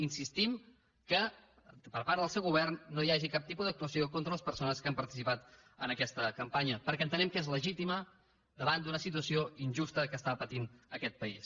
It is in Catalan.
insistim que per part del seu govern no hi hagi cap tipus d’actuació contra les persones que han participat en aquesta campanya perquè entenem que és legítima davant d’una situació injusta que pateix aquest país